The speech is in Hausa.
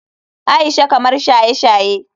Aisha kamar shaye-shaye.